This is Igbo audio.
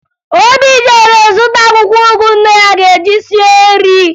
Obi jere zụta akwụkwọ ụgụ nne ya ga-eji sie nri